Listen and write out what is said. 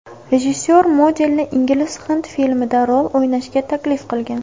Rejissor modelni ingliz-hind filmida rol o‘ynashga taklif qilgan.